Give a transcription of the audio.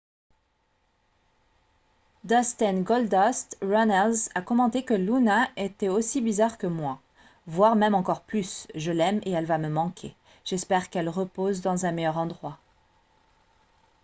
dustin « goldust » runnels a commenté que « luna était aussi bizarre que moi voire même encore plus je l'aime et elle va me manquer j'espère qu'elle repose dans un meilleur endroit. »